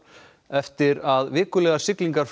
eftir að vikulegar siglingar